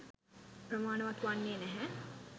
ප්‍රමාණවත් වන්නේ නැහැ